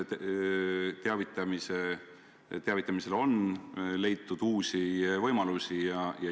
Teavitamiseks on leitud uusi võimalusi.